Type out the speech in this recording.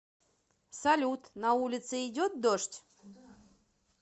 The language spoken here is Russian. салют на улице идет дождь